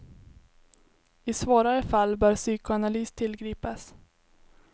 I svårare fall bör psykoanalys tillgripas.